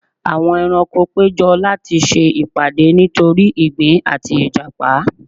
Àwọn ẹranko péjọ láti se ìpàdé nítorí igbin àti ìjàpá